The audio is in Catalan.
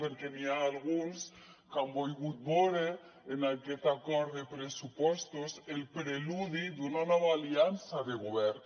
perquè n’hi ha alguns que han volgut veure en aquest acord de pressupostos el preludi d’una nova aliança de govern